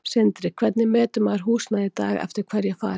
Sindri: Hvernig metur maður húsnæði í dag, eftir hverju er farið?